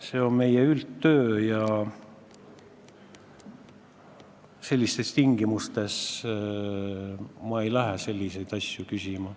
See on meie üldtöö ja sellistes tingimustes ma ei lähe selliseid asju küsima.